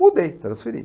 Mudei, transferi.